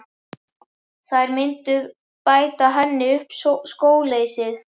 Þær myndu bæta henni upp skóleysið.